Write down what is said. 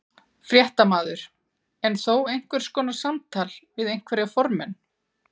Fréttamaður: En þó einhvers konar samtal við einhverja formenn?